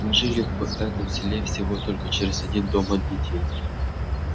мы жили в этом селе всего только через один дом от детей